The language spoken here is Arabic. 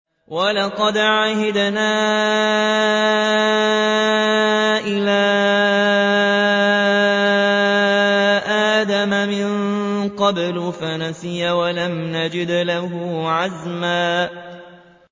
وَلَقَدْ عَهِدْنَا إِلَىٰ آدَمَ مِن قَبْلُ فَنَسِيَ وَلَمْ نَجِدْ لَهُ عَزْمًا